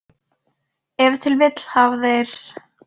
Ef til vill hafa þeir.